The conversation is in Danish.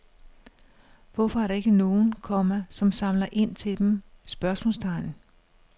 Hvorfor er der ikke nogen, komma som samler ind til dem? spørgsmålstegn